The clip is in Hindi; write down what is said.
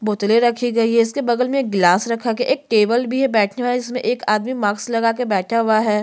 बोतले रखी गई है इसके बगल में एक गिलास रखा गया है एक टेबल भी है बैठने वाला इसमें एक आदमी मास्क लगा के बैठा हुआ है। --